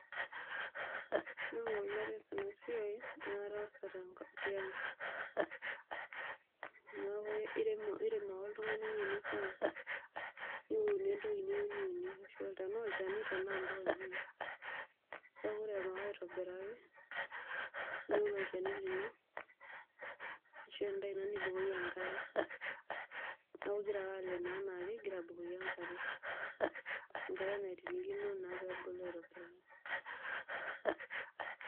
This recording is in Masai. Ore enkolong nataasa enasiai na kataasa tiang, neaku irem ake oltungani ewoi nifaa niunie entoki niyieu niunie, tanaa olchani tanaa mpuka, keaku irem ake aitobiraki niun olchani lino ashu endaa ino nipik enkare neaku ingira ake aleeno anaake ingira abukoki enkarenaitirikino naa peepiki.